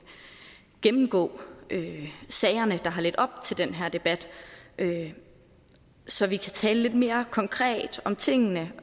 gennemgå sagerne der har ledt op til den her debat så vi kan tale lidt mere konkret om tingene